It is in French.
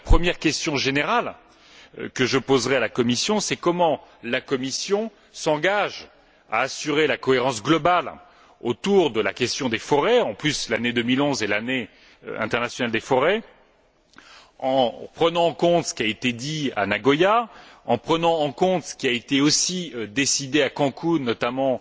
Donc, la première question générale que je poserais à la Commission est comment la Commission s'engage t elle à assurer la cohérence globale autour de la question des forêts l'année 2011 est l'année internationale des forêts en prenant en compte ce qui a été dit à Nagoya, en prenant en compte ce qui a aussi été décidé à Cancun, notamment